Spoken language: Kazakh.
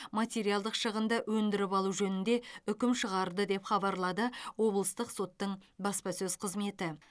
материалдық шығынды өндіріп алу жөнінде үкім шығарды деп хабарлады облыстық соттың баспасөз қызметі